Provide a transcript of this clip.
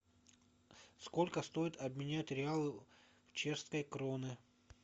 сколько стоит обменять реалы в чешские кроны